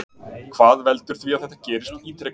Hvað veldur því að þetta gerist ítrekað?